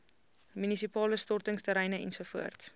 munisipale stortingsterreine ens